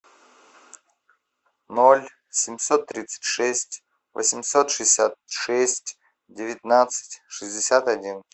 ноль семьсот тридцать шесть восемьсот шестьдесят шесть девятнадцать шестьдесят один